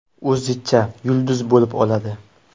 O‘zicha yulduz bo‘lib oladi.